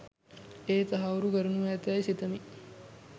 එය තහවුරු කරනු ඇතැ යි සිතමි.